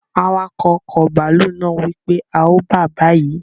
Awakọ̀ ọkọ̀ bàálù naa wípé, a o bàa bayi!